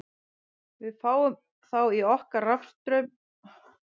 Við fáum þá í okkur rafstraum ef við snertum málmhylki tækisins.